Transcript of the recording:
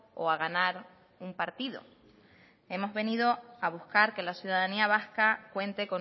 o a ganar un partido hemos venido a buscar que la ciudadanía vasca cuente